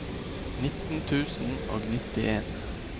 nitten tusen og nittien